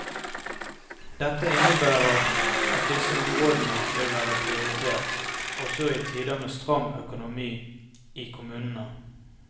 Dette innebærer at disse områdene vil være prioritert også i tider med stram økonomi i kommunene.